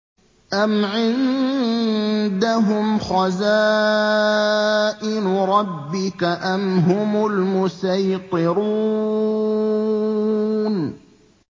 أَمْ عِندَهُمْ خَزَائِنُ رَبِّكَ أَمْ هُمُ الْمُصَيْطِرُونَ